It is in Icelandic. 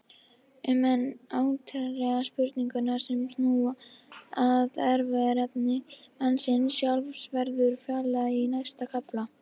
Um enn áleitnari spurningar sem snúa að erfðaefni mannsins sjálfs verður fjallað í næsta kafla.